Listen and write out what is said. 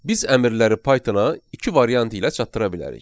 Biz əmrləri Python-a iki variant ilə çatdıra bilərik.